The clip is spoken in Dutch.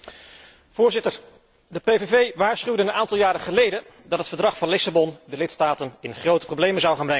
Voorzitter, de PVV waarschuwde een aantal jaren geleden dat het Verdrag van Lissabon de lidstaten in grote problemen zou gaan brengen.